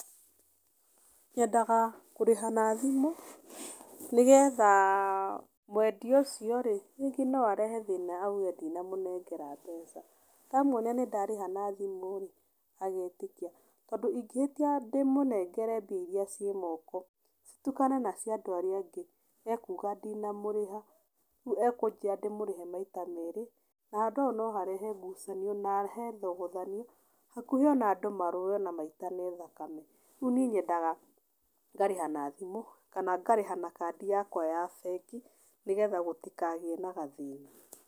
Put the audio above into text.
Nyendaga kũrĩha na thimũ, nĩgetha mwendia ũcio rĩ, rĩngĩ no arehe thĩna auge ndinamũnengera mbeca. Ndamuonia ndĩ ndarĩha na thimũ rĩ, agetĩkia. Tondũ ingĩhĩtia ndĩmũnengere mbia iria ciĩ moko citukane na cia andũ arĩa angĩ, ekuga ndinamũrĩha, rĩu ekũnjĩra ndĩmũrĩhe maita merĩ. Na handũ hau no harehe ngucanio na harehe thogothanio, hakuhi ona andũ marũe na maitane thakame. Rĩu niĩ nyendaga ngarĩha na thimũ kana ngarĩha na kandi yakwa ya bengi, nĩgetha gũtikagĩe na gathĩna.